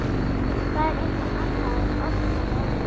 Það er eitthvað annað en ofsaveðrið á